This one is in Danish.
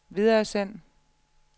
videresend